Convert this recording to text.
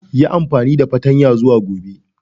Yi amfani da fartanya zuwa Gobe.